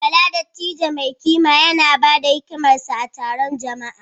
Bala, dattijo mai kima, yana ba da hikimarsa a taron jama’a.